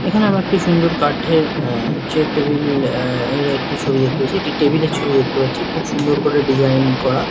এখানে আমরা একটি সুন্দর কাঠের আহ চেয়ার টেবিল আহ এর একটি ছবি দেখতে পারছি। একটি টেবিল এর ছবি দেখতে পারছি। খুব সুন্দর করে ডিসাইন করা ।